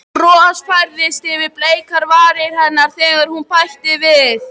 Bros færðist yfir bleikar varir hennar þegar hún bætti við